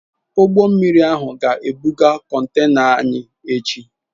Ụgbọ mmiri ahụ ga-ebuga contena anyị echi.